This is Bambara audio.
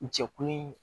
Jɛkulu